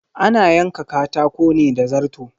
Ana yanka katako ne da zarto.